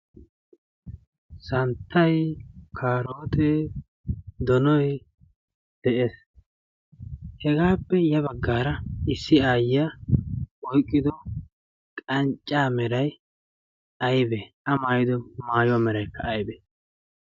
Santtay karote donoy de'ees hegaappe ya baggaara issi aayyiya oiqqido qancca meray aybe a maayido maariyoa meraikka aybe?